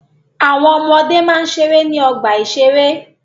Àwọn ọmọde máa ń ṣeré ní ọgbà-ìṣeré